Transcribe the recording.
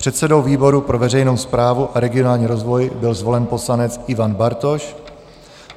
Předsedou výboru pro veřejnou správu a regionální rozvoj byl zvolen poslanec Ivan Bartoš.